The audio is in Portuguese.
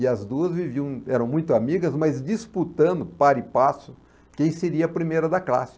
E as duas viviam, eram muito amigas, mas disputando, par e passo, quem seria a primeira da classe.